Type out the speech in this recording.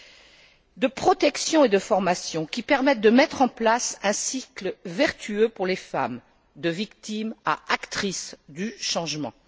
Deuxièmement, des mesures de protection et de formation qui permettent de mettre en place un cycle vertueux pour les femmes, de victimes à actrices du changement.